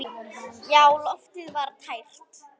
Já, loftið var tært.